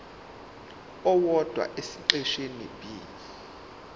owodwa esiqeshini b